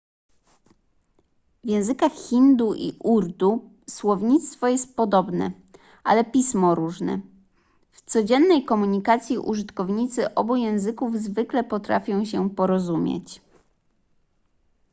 w językach hindi i urdu słownictwo jest podobne ale pismo różne w codziennej komunikacji użytkownicy obu języków zwykle potrafią się porozumieć